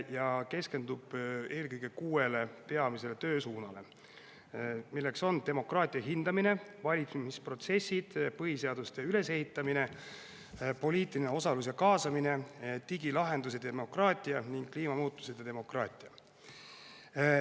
Ta keskendub eelkõige kuuele peamisele töösuunale: demokraatia hindamine, valitsemisprotsessid, põhiseaduste ülesehitamine, poliitiline osalus ja kaasamine, digilahendused ja demokraatia ning kliimamuutused ja demokraatia.